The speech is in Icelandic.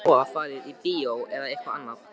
Þið getið svo farið á bíó eða eitthvað annað.